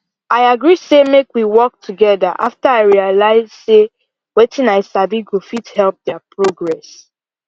i agree say make we work together after i realize say wetin i sabi go fit help their progress